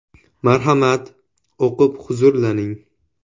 Marhamat, o‘qib huzurlaning.